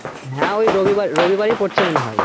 হ্যাঁ ওই রবি রবিবারই পরছে মনে হয়